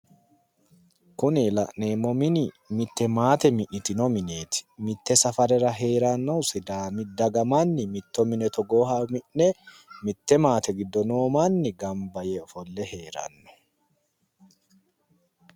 Kuni la'neemmohu mitte maate mi'nitino mineeti. mitte safarera heeranno sidaami daga manni mitto mine mitte maate giddo noo manni gamba yee ofolle heeranno.